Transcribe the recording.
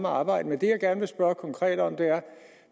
arbejde det jeg gerne spørge konkret om er